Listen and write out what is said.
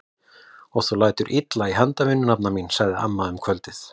Og þú lætur illa í handavinnu nafna mín! sagði amma um kvöldið.